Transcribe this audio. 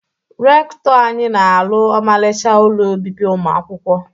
Rekụtọ anyị na alụ ọmarịcha ụlọ obibi ụmụ akwụkwọ.